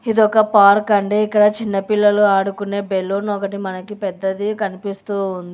ఇదొక పార్క్ అండి ఇక్కడ చిన్న పిల్లలు ఆడుకునే బెలూన్ ఒకటి మనకి పెద్దది కనిపిస్తూ ఉంది.